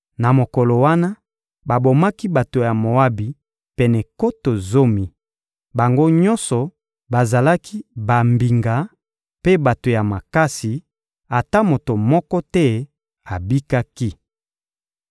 Na mokolo wana, babomaki bato ya Moabi pene nkoto zomi; bango nyonso bazalaki bambinga mpe bato ya makasi, ata moto moko te abikaki.